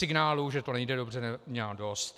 Signálů, že to nejde dobře, měla dost.